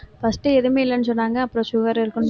first எதுவுமே இல்லைன்னு சொன்னாங்க அப்புறம் sugar இருக்கும்னு